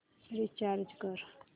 recharge कर